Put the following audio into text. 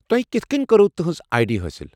تۄہہِ کِتھ كٕنۍ كروٕ تِہنز آیہ ڈی حٲصل۔